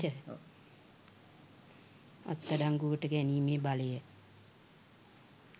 අත්අඩංගුවට ගැනීමේ බලය